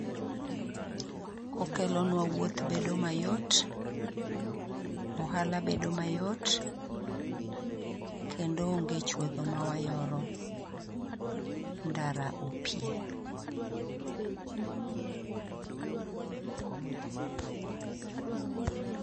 Okelonwa wuoth bedo ma yot, ohala bedo ma yot kendo onge chuodho ma yoro ndara o pie.